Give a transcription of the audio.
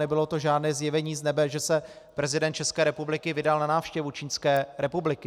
Nebylo to žádné zjevení z nebes, že se prezident České republiky vydal na návštěvu Čínské republiky.